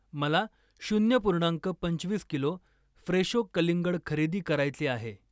मला शून्य पूर्णांक पंचवीस किलो फ्रेशो कलिंगड खरेदी करायचे आहे.